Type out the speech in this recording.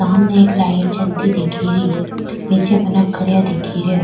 सामने एक लाइट जलती दिखेरी नीचे खड़या दिखे रिया।